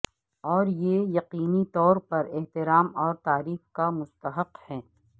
اور یہ یقینی طور پر احترام اور تعریف کا مستحق ہے